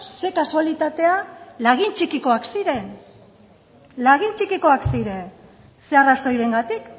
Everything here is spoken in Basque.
ze kasualitatea lagin txikikoak ziren lagin txikikoak ziren ze arrazoirengatik